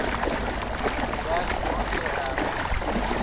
niyazi nonk apha